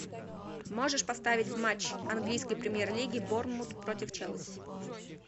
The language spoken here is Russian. можешь поставить матч английской премьер лиги борнмут против челси